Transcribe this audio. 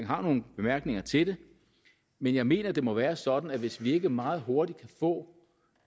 har nogle bemærkninger til det men jeg mener det må være sådan at hvis vi ikke meget hurtigt kan få